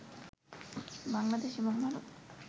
বাংলাদেশ এবং ভারত